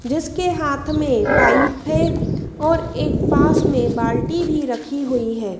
जिसके हाथ में पाइप है और एक पास में बाल्टी भी रखी हुई है।